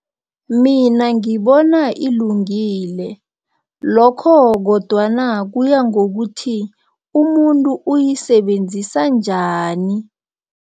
Mina ngibona ilungile lokho kodwana kuya ngokuthi umuntu uyisebenzisa njani.